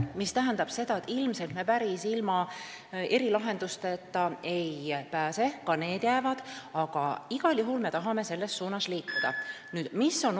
See tähendab, et ilmselt me päris ilma erilahendusteta ei pääse, ka need jäävad, aga igal juhul me tahame bürokraatia vähendamise poole liikuda.